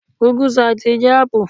Gùgú ṣììtì jẹ́ áàpù